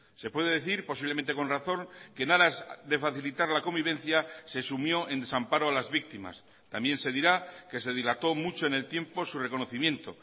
se puede decir posiblemente con razón que en aras de facilitar la convivencia se sumió en desamparo a las víctimas también se dirá que se dilató mucho en el tiempo su reconocimiento